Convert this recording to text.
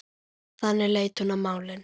Þannig leit hún á málin.